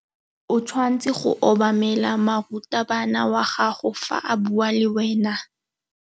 O tshwanetse go obamela morutabana wa gago fa a bua le wena.